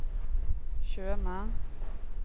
Tjøme